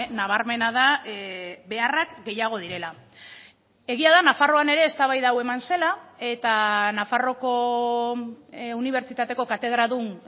nabarmena da beharrak gehiago direla egia da nafarroan ere eztabaida hau eman zela eta nafarroako unibertsitateko katedradun